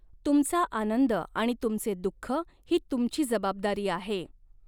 तुमचा आनंद आणि तुमचे दुखः ही तुमची जबाबदारी आहे.